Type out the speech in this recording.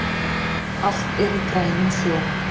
Allt er í grænum sjó